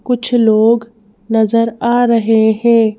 कुछ लोग नजर आ रहे हैं।